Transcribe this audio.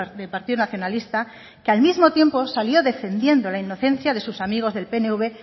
del partido nacionalista que al mismo tiempo salió defendiendo la inocencia de sus amigos del pnv